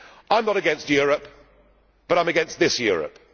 it. I am not against Europe, but I am against this Europe.